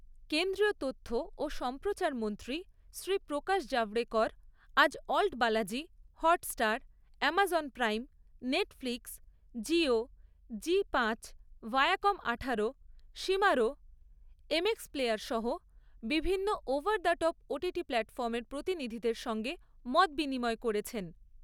কেন্দ্রীয় তথ্য ও সম্প্রচারমন্ত্রী শ্রী প্রকাশ জাভড়েকর আজ ALT Balaji, Hotstar, Amazon Prime, Netflix, Jio, Zee পাঁচ, ভায়াকম আঠারো, শিমারো, এমএক্সপ্লেয়ার সহ বিভিন্ন ওভার দা টপ ওটিটি প্ল্যাটফর্মের প্রতিনিধিদের সঙ্গে মতবিনিময় করেছেন।